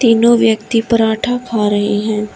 दोनों व्यक्ति परांठा खा रहे हैं।